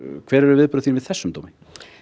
hver eru viðbrögð þín við þessum dómi